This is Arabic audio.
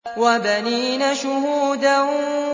وَبَنِينَ شُهُودًا